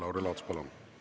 Lauri Laats, palun!